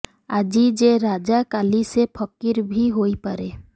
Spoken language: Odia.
ଆଜି ଯେ ରାଜା କାଲି ସେ ଫକିର ବି ହୋଇପାରେ